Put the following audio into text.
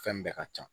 Fɛn bɛɛ ka ca